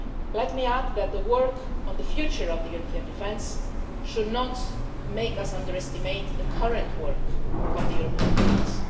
Let me add that the work on the future of European defence should not make us underestimate the current work of European defence.